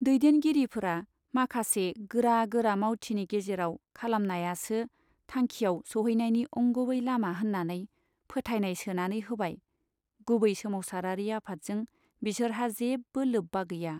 दैदेनगिरिफ्रा माखासे गोरा गोरा मावथिनि गेजेराव खालामनायासो थांखियाव सोहैनायनि अंगुबै लामा होन्नानै फोथायनाय सोनानै होबाय गुबै सोमावसारारि आफादजों बिसोरहा जेबो लोब्बा गैया।